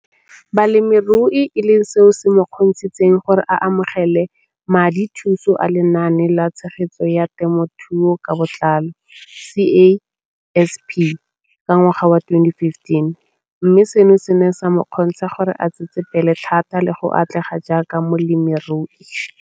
Balemirui e leng seo se mo kgontshitseng gore a amogele madithuso a Lenaane la Tshegetso ya Te mothuo ka Botlalo, CASP] ka ngwaga wa 2015, mme seno se ne sa mo kgontsha gore a tsetsepele thata le go atlega jaaka molemirui.